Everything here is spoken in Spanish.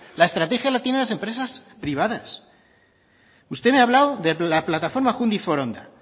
la estrategia la tienen las empresas privadas usted me ha hablado de la plataforma júndiz foronda